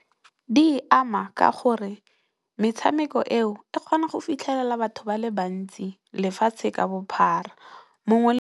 Di ama ka gore metshameko eo e kgona go fitlhelela batho ba le bantsi lefatshe ka bophara. mongwe le